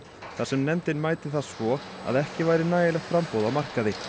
þar sem nefndin mæti það svo að ekki væri nægilegt framboð á markaði